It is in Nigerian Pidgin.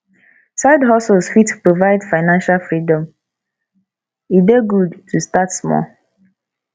sidehustles fit provide financial freedom e dey good to start small